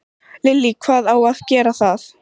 Lillý: Hvað á að gera það?